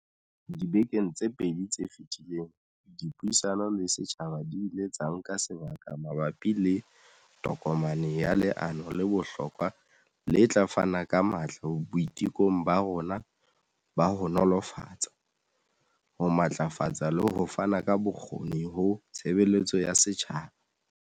Dibekeng tse pedi tse feti leng, dipuisano le setjhaba di ile tsa nka sebaka ma bapi le tokomane ya leano le bohlokwa le tla fana ka matla boitekong ba rona ba ho nolofatsa, ho matlafatsa le ho fana ka bokgoni ho tshebeletso ya setjhaba.